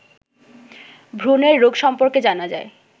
ভ্রূণের রোগ সম্পর্কে জানা যায়